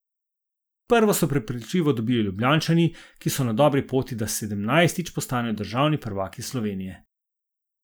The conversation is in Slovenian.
Prvo so prepričljivo dobili Ljubljančani, ki so na dobri poti, da sedemnajstič postanejo državni prvaki Slovenije.